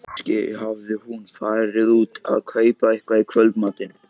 Kannski hafði hún farið út að kaupa eitthvað í kvöldmatinn.